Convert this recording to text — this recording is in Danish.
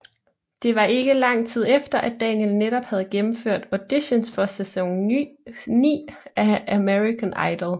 Det var ikke lang tid efter at Daniel netop havde fremført auditions for sæson 9 af American Idol